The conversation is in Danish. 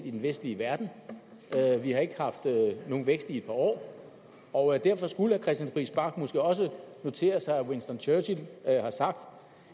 i den vestlige verden vi har ikke haft nogen vækst i et par år og derfor skulle herre christian friis bach måske også notere sig at winston churchill har sagt